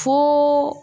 Fo